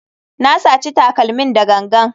Na saci takalmin da gangan.